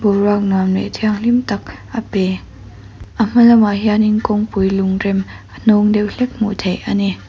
boruak nuam leh hianghlim tak a pe a hmalam ah hian kawngpui lungrem a hnawng deuh hlek a hmu thei.